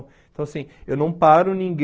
Então, assim, eu não paro ninguém